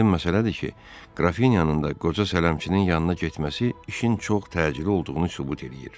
Aydın məsələdir ki, Qrafinyanın da qoca sələmçinin yanına getməsi işin çox təcili olduğunu sübut eləyir.